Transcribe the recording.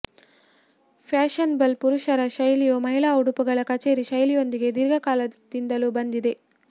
fashionable ಪುರುಷರ ಶೈಲಿಯು ಮಹಿಳಾ ಉಡುಪುಗಳ ಕಚೇರಿ ಶೈಲಿಯೊಂದಿಗೆ ದೀರ್ಘಕಾಲದಿಂದಲೂ ಬಂದಿದೆ